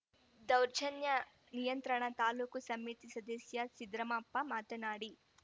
ದೌರ್ಜನ್ಯ ನಿಯಂತ್ರಣ ತಾಲೂಕು ಸಮಿತಿ ಸದಸ್ಯ ಸಿದ್ರಾಮಪ್ಪ ಮಾತನಾಡಿ